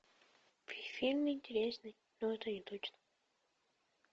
фильм интересный но это не точно